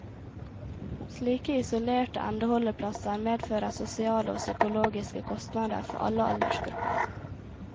Slike isolerte endeholdeplasser medfører sosiale og psykologiske kostnader for alle aldersgrupper.